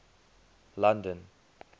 london